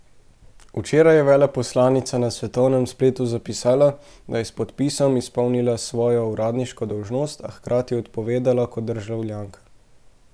Včeraj je veleposlanica na svetovnem spletu zapisala, da je s podpisom izpolnila svojo uradniško dolžnost, a hkrati odpovedala kot državljanka.